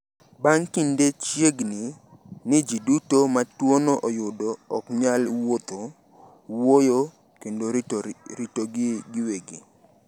Bang’ kinde, chiegni ni ji duto ma tuono oyudo ok nyal wuotho, wuoyo, kendo ritogi giwegi.